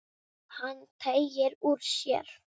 Hann teygir úr sér.